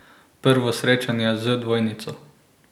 Prvo srečanje z dvojnico?